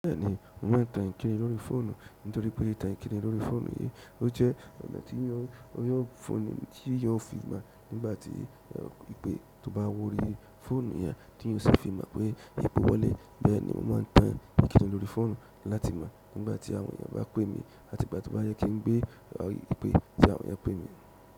Bẹ́ẹ̀ni, mo máa ń ta ìnkíni lórí fóònù nítorí pé ta ìnkíni lórí fóònù yí ó jẹ́ ọ̀nà tí yóò fi mọ̀ nígbà tí ìpè tó bá worí fóònù yẹn tí yóò sì fi mọ̀ pé ìpe wọlé. Bẹ́ẹ̀ ni mo máa tàn ìkíni lórí fóònù láti mọ nígbà ti àwọn èèyàn bá pe mí àti ìgbà to ba yẹ kí ngbé ìpè ti àwọn èèyàn pé mí.